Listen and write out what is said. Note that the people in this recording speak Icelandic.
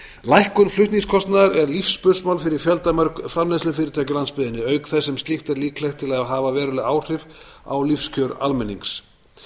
lækkun flutningskostnaðar er lífsspursmál fyrir fjöldamörg framleiðslufyrirtæki á landsbyggðinni auk þess sem slíkt er líklegt til að hafa veruleg áhrif á lífskjör almennings